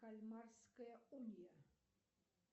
кальмарская уния